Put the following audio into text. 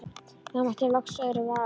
Hér mæti ég loks öðrum vegfaranda.